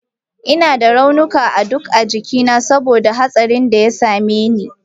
Ina da raunuka a duk jikina saboda hatsarinda ya same ni.